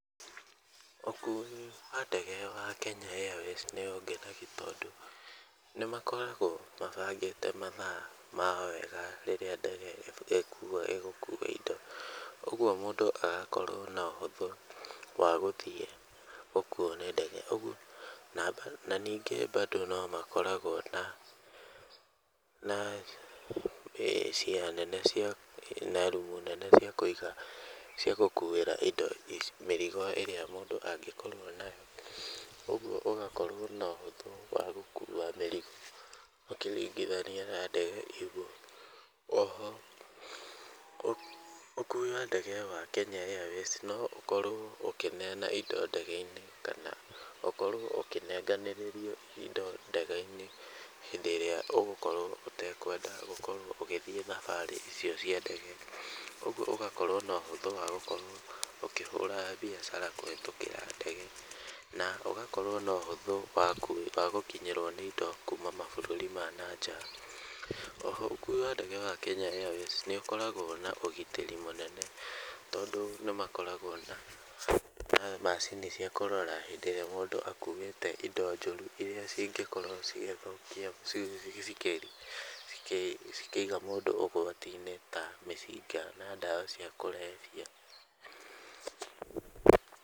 Ũkui wa ndege wa Kenya Airways nĩ ũngenagia tondũ nĩ makoragwo mabangĩte mathaa mao wega rĩrĩa ndege ĩgũkua indo. Ũguo mũndũ agakorwo na ũhũthũ wa gũthiĩ gũkuo nĩ ndege. Ũguo na ningĩ bado no makoragwo na na cieya nene cia na rooms nene cia kũiga cia gũkuĩra mĩrigo ĩrĩa mũndũ angĩkorwo nayo. Ũguo ũgakorwo na ũhũthũ wa gũkua mĩrigo ũkĩringithania na ndegeO ho ũkui wa indo wa ndege wa Kenya Airways no ũkorwo ũkĩneana indo ndege-inĩ, kana ũkorwo ũkĩnenganĩrĩrio indo ndege-inĩ hĩndĩ ĩrĩa ũgũkorwo ũtekwenda gũkorwo ũgĩthiĩ thabarĩ icio cia ndege. Ũguo ũgakorwo na ũhũthũ wa gũkorwo ũkĩhũra biacara kũhĩtũkĩra ndege na ũgakorwo na ũhũthũ wa gũkinyĩrwo nĩ indo kuuma mabũrũri ma nja. O ho ũkui wa ndege wa Kenya Airways nĩ ũkoragwo na ũgitĩri mũnene tondũ nĩ makoragwo na macini cia kũrora hĩndĩ ĩrĩa mũndũ akuĩte indo njũru, irĩa cingĩkorwo cigĩthũkia cikĩiga mũndũ ũgwati-inĩ, ta mĩcinga na ndawa cia kũrebia.